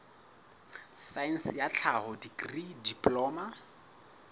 saense ya tlhaho dikri diploma